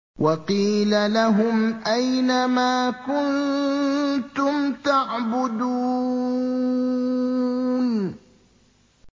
وَقِيلَ لَهُمْ أَيْنَ مَا كُنتُمْ تَعْبُدُونَ